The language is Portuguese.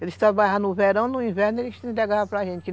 Eles trabalhavam no verão e no inverno eles entregavam para gente.